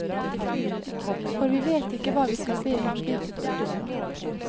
For vi vet ikke hva vi skal be om slik vi burde det.